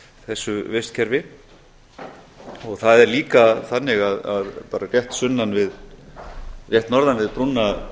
þessu vistkerfi það er líka þannig að bara rétt norðan við brúna